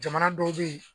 Jamana dɔw bɛ yen